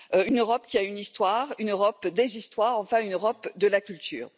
Une Europe qui a une histoire, une Europe des histoires, une Europe de la culture.